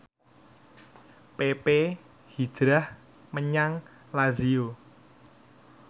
pepe hijrah menyang Lazio